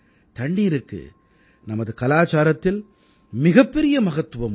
தண்ணீருக்கு நமது கலாச்சாரத்தில் மிகப்பெரிய மகத்துவம் உள்ளது